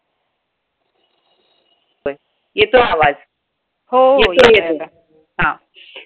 येतोय आवाज येतोय येतोय हा